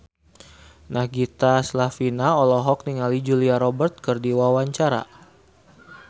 Nagita Slavina olohok ningali Julia Robert keur diwawancara